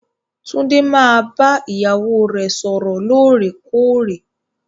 Tunde máa bá ìyàwó rẹ sọrọ lóòrèkóòrè.